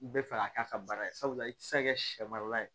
U bɛ fɛ ka k'a ka baara ye sabula i tɛ se ka kɛ sɛ marala ye